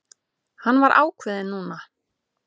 Hann var ákveðinn núna.